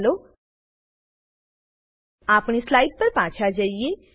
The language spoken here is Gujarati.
ચાલો આપણી સ્લાઈડ પર પાછા જઈએ